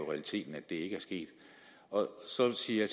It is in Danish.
realiteten ikke er sket så siger